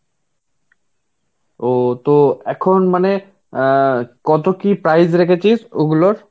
ও তো এখন মানে অ্যাঁ কত কি price রেখেছিস ওগুলোর?